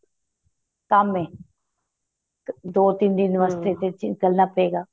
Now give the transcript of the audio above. ਕੰਮ ਏ ਦੋ ਤਿੰਨ ਦਿਨ ਵਾਸਤੇ ਤੇ ਵਿੱਚ ਨਿੱਕਲਣਾ ਪਏਗਾ